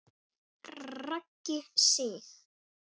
Raggi Sig.